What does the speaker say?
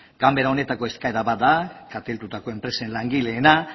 ganbera honetako eskaera bat da kaltetutako enpresen langileena